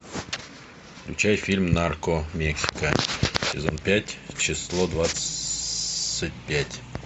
включай фильм нарко мексика сезон пять число двадцать пять